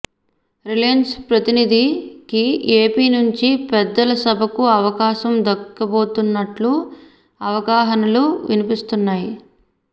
Reliance ప్రతినిధికి AP నుంచి పెద్దల సభకు అవకాశం దక్కబోతున్నట్టు ఊహాగానాలు వినిపిస్తున్నాయి